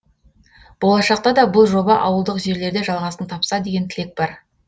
болашақта да бұл жоба ауылдық жерлерде жалғасын тапса деген тілек бар